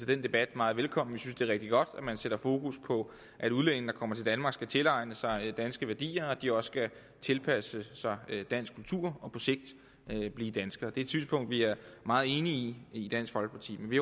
den debat meget velkommen vi synes det er rigtig godt at man sætter fokus på at udlændinge der kommer til danmark skal tilegne sig danske værdier og at de også skal tilpasse sig dansk kultur og på sigt blive danskere det er et synspunkt vi er meget enige i i dansk folkeparti men vi